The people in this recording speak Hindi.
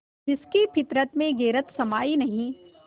जिसकी फितरत में गैरत समाई नहीं